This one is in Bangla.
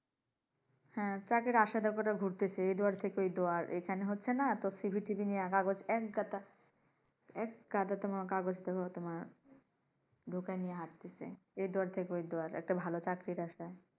হ্যাঁ তাদের আশায় ঘুরতাছে এই দুয়ার থেকে ঐ দুয়ার। এখানে হচ্ছেনা তো CV টিভি নিয়ে কাগজ একগাছা নিয়ে একগাধা নিয়ে তোমার হয়ত বুকে নিয়ে হাটতাছে। এই দুয়ার থেকে দুয়ারে একটা ভালো চাকরির আশায়।